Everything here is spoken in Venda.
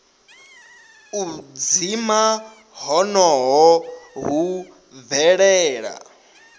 u dzima honoho hu bvelela